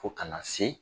Fo kana se